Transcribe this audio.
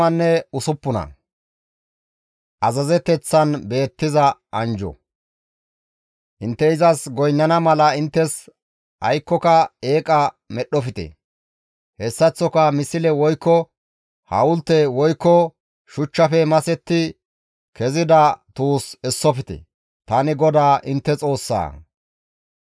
« ‹Intte izas goynnana mala inttes aykkoka eeqa medhdhofte; hessaththoka misle woykko hawulte woykko shuchchafe masetti kezida tuus essofte; tani GODAA intte Xoossaa.